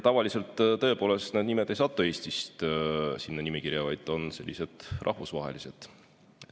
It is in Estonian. Tavaliselt need nimed ei satu Eestist sinna nimekirja, see on rahvusvaheline.